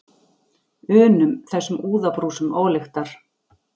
unum, þessum úðabrúsum ólyktar.